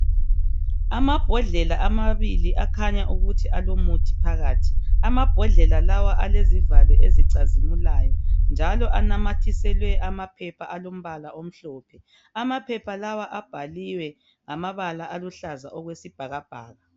Amambodlela amabili akhanya ukuthi alomuthi phakathi. Amambodlela lawa alezivalo ezicazimulayo njalo anamathiselwe amaphepha alombala omhlophe. Amaphepha lawa abhaliwe ngamabala aluhlaza okwesibhakabhaka.